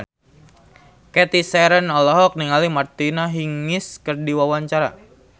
Cathy Sharon olohok ningali Martina Hingis keur diwawancara